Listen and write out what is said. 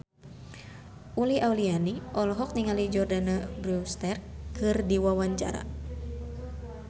Uli Auliani olohok ningali Jordana Brewster keur diwawancara